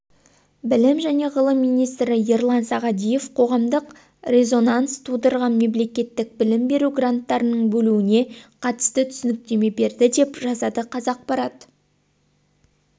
білім және ғылым министрі ерлан сағадиев қоғамдық резонанс тудырған мемлекеттік білім беру гранттарының бөлінуіне қатысты түсініктеме берді деп жазады қазақпарат